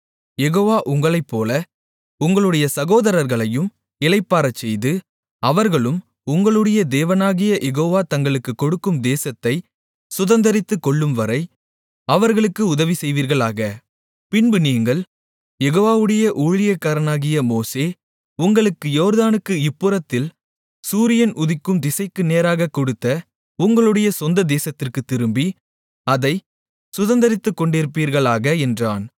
யெகோவா உங்களைப்போல உங்களுடைய சகோதரர்களையும் இளைப்பாறச்செய்து அவர்களும் உங்களுடைய தேவனாகிய யெகோவா தங்களுக்குக் கொடுக்கும் தேசத்தைச் சுதந்தரித்துக்கொள்ளும்வரை அவர்களுக்கு உதவிசெய்வீர்களாக பின்பு நீங்கள் யெகோவாவுடைய ஊழியக்காரனாகிய மோசே உங்களுக்கு யோர்தானுக்கு இந்தப்புறத்தில் சூரியன் உதிக்கும் திசைக்கு நேராகக் கொடுத்த உங்களுடைய சொந்தமான தேசத்திற்குத் திரும்பி அதைச் சுதந்தரித்துக் கொண்டிருப்பீர்களாக என்றான்